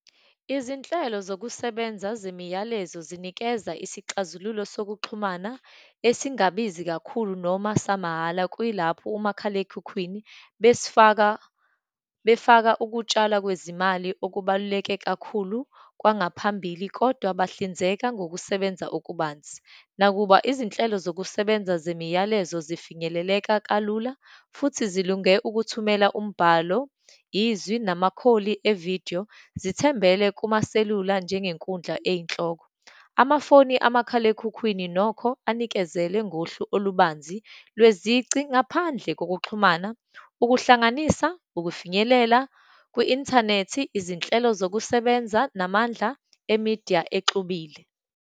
Izinhlelo zokusebenza zemiyalezo zinikeza isixazululo sokuxhumana esingabizi kakhulu, noma samahhala, kuyilapho umakhalekhukhwini besifaka, befaka ukutshalwa kwezimali okubaluleke kakhulu kwangaphambili kodwa bahlinzeka ngokusebenza okubanzi. Nakuba izinhlelo zokusebenza zemiyalezo zifinyeleleka kalula, futhi zilunge ukuthumela umbhalo, izwi, namakholi evidiyo, zithembele kumaselula njengenkundla eyinhloko. Amafoni amakhalekhukhwini nokho anikezele ngohlu olubanzi lwezici, ngaphandle kokuxhumana, ukuhlanganisa, ukufinyelela kwi-inthanethi, izinhlelo zokusebenza namandla e-media exubile.